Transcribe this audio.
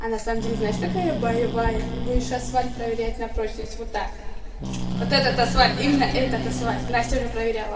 а на самом деле знаешь какая я боевая будешь асфальт проверять на прочность вот так вот вот этот асфальт именно этот асфальт настя уже проверяла